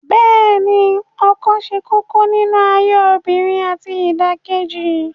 Bẹ́ẹ̀ ni ọkùnrin ṣe kókó nínú ayé obìnrin àti ìdàkejì